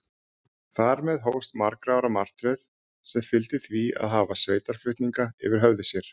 Þar með hófst margra ára martröð, sem fyldi því að hafa sveitarflutninga yfir höfði sér.